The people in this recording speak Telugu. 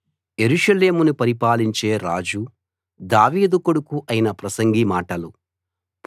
యెరూషలేమును పరిపాలించే రాజు దావీదు కొడుకూ అయిన ప్రసంగి మాటలు